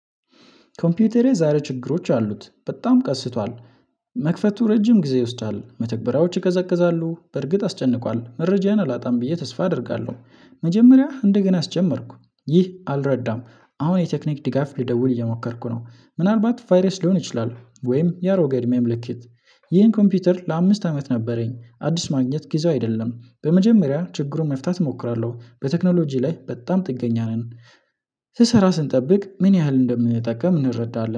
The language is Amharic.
ኮምፒውተሬ ዛሬ ችግሮች አሉት በጣም ቀስቷል። መክፈቱ ረጅም ጊዜ ይወስዳል መተግበሪያዎች ይቀዘቅዛሉ በርግጥ አስጨንቋል መረጃን አላጣም ብዬ ተስፋ አደርጋለሁ። መጀመሪያ እንደገና አስጀመርኩ ይህ አልረዳም። አሁን የቴክኒክ ድጋፍ ልደውል እየሞከርኩ ነው። ምናልባት ቫይረስ ሊሆን ይችላል ወይም የአሮገ እድሜ ምልክት። ይህን ኮምፒውተር ለአምስት አመት ነበረኝ። አዲስ ማግኘት ጊዜው አይደለም። በመጀመሪያ ችግሩን መፍታት እሞክራለሁ በቴክኖሎጂ ላይ በጣም ጥገኛ ነን። ስሰራ ስንጠብቅ ምን ያህል እንደምንጠቀም እንረዳለን